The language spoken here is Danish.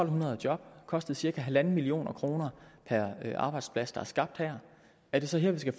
hundrede job og kostet cirka en million kroner per arbejdsplads der er skabt her er det så her vi skal